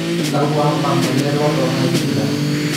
kakua amba ngole e lotto naishinda